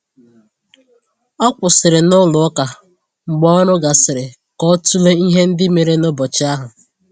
O kwụsịrị n'ụlọ ụka mgbe ọrụ gasịrị ka ọ tụlee ihe ndị mere n’ụbọchị ahụ.